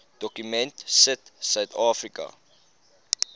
dokument sit suidafrika